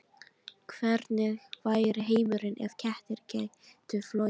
Hvernig væri heimurinn ef kettir gætu flogið?